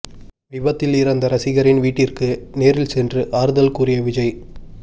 விபத்தில் இறந்த ரசிகரின் வீட்டிற்கு நேரில் சென்று ஆறுதல் கூறிய விஜய்